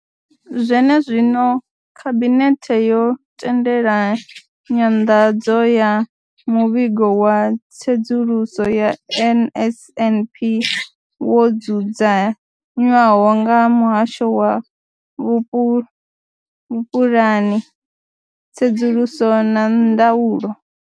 Zwenezwino, khabinethe yo tendela nyanḓadzo ya muvhigo wa tsedzuluso ya NSNP wo dzudzanywaho nga muhasho wa vhupu vhupulani, tsedzuluso na ndaulo.